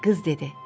Qız dedi: